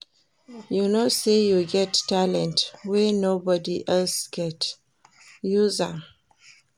You know sey you get talent wey nobod else get, use am.